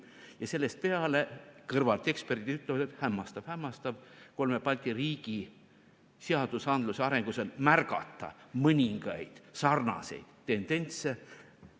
Ja sellest peale kõrvalt eksperdid ütlevad, et hämmastav-hämmastav, kolme Balti riigi seadusandluse arengus on märgata mõningaid sarnaseid tendentse.